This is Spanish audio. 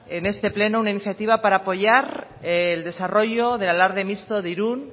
en este pleno una iniciativa para apoyar el desarrollo del alarde mixto de irún